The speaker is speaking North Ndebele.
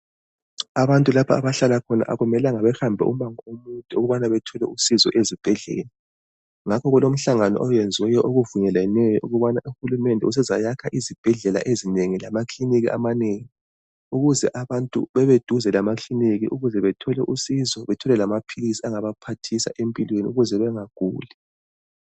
Abantu lapha abahlala khona akumelanga bahambe umango omude ukubana bethole usizo ezibhedlela , ngakho kulomhlangano owenziweyo okuvunyelweneyo ukubana uhulumende usezayakha izibhedlela ezinengi lamakilinika amanengi ukuze abantu bebeduze lamakiliniki ukuze bethole usizo bethole lamaphilisi angabaphathisa empilweni ukuze bengaguli.